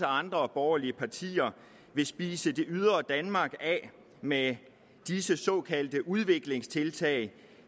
andre borgerlige partier kan spise det ydre danmark af med disse såkaldte udviklingstiltag